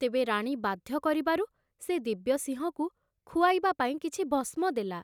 ତେବେ ରାଣୀ ବାଧ୍ୟ କରିବାରୁ ସେ ଦିବ୍ୟସିଂହକୁ ଖୁଆଇବା ପାଇଁ କିଛି ଭସ୍ମ ଦେଲା।